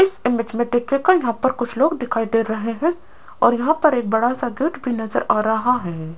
इस इमेज देखियेगा यहाँ पर कुछ लोग दिखाई दे रहे हैं और यहां पर एक बड़ा सा गेट भी नजर आ रहा है।